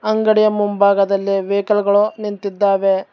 ಅಂಗಡಿಯ ಮುಂಭಾಗದಲ್ಲಿ ವೇಕೆಲ್ ಗಳು ನಿಂತಿದ್ದಾವೆ.